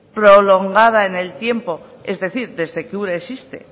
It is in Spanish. prolongada en el tiempo es decir desde que ura existe